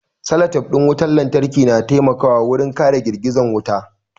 Salatif ɗin wutar lantarki na taimakawa wurin kare girgizar wuta